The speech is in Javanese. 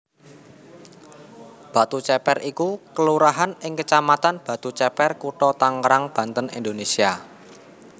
Batuceper iku kelurahan ing kecamatan Batuceper Kutha Tangerang Banten Indonésia